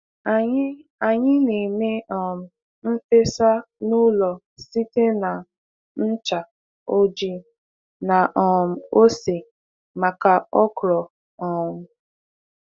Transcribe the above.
Anyị Anyị na-eme um n’fesa n'ụlọ site na ncha ojii na um ose maka okro um